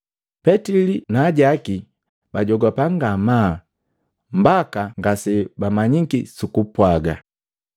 Petili na ajaki bajogapaa ngamaa mbaka ngasejamanyiki sukupwaaga.